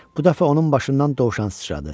Bu dəfə onun başından dovşan sıçradı.